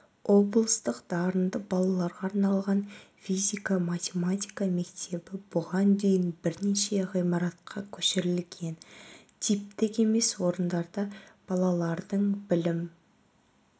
облыстық дарынды балаларға арналған физика-математика мектебі бұған дейін бірнеше ғимаратқа көшірілген типтік емес орындарда балалардың білім